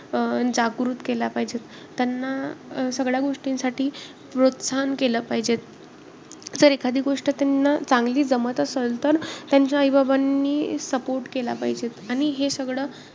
अं जागृत केल्या पाहिजेत. त्यांना अं सगळ्या गोष्टींसाठी प्रोत्साहन केले पाहिजे. जर एखादी गोष्ट त्यांना चांगली जमत असेल तर त्यांच्या आई-बाबांनी support केला पाहिजे.